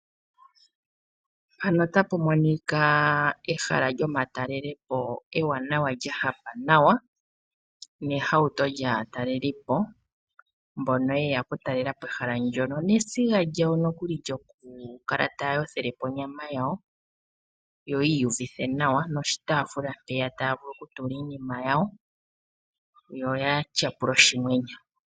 Ehala lyomatalelepo lyahapa nawa nehauto lyaatalelipo mbono yeya okutalelapo ehala ndyoka nesiga lyawo lyokuyothela onyama oshowo oshitaafula mpoka taya tenteke yatyapule.